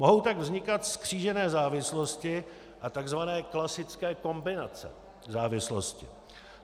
Mohou tak vznikat zkřížené závislosti a tzv. klasické kombinace závislostí.